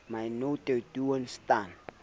my nou te doen staan